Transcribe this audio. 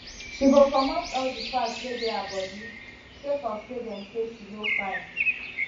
she go comot all di fat wey dey her bodi sake of say dem say she no fine